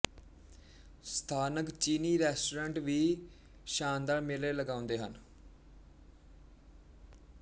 ਸਥਾਨਕ ਚੀਨੀ ਰੈਸਟੋਰੈਂਟ ਵੀ ਸ਼ਾਨਦਾਰ ਮੇਲੇ ਲਗਾਉਂਦੇ ਹਨ